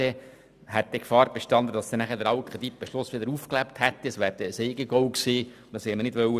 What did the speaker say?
Damit hätte die Gefahr bestanden, dass der alte Kreditbeschluss wieder aufgelebt hätte, was ein Eigengoal gewesen wäre.